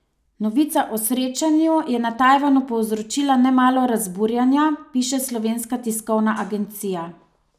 Novica o srečanju je na Tajvanu povzročila nemalo razburjenja, piše Slovenska tiskovna agencija.